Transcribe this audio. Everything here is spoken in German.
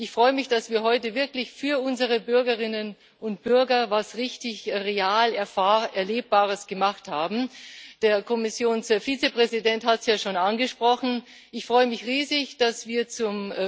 Ich freue mich, dass wir heute wirklich für unsere Bürgerinnen und Bürger etwas real Erfahrbares, Erlebbares gemacht haben der Kommissionsvizepräsident hat es ja schon angesprochen Ich freue mich riesig, dass wir zum